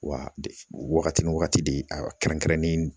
Wa wagati ni wagati de kɛrɛnkɛrɛnnen